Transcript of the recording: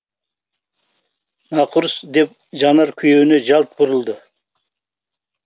нақұрыс деп жанар күйеуіне жалт бұрылды